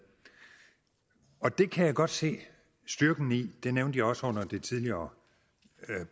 og det kan jeg godt se styrken i det nævnte jeg også under det tidligere